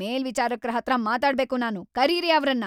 ಮೇಲ್ವಿಚಾರಕ್ರ ಹತ್ರ ಮಾತಾಡ್ಬೇಕು ನಾನು, ಕರೀರಿ ಅವ್ರನ್ನ!